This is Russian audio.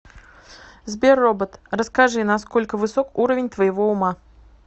сбер робот расскажи на сколько высок уровень твоего ума